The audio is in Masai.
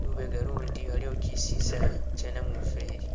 lubega ulundi aliwo kisisa kye namufeli.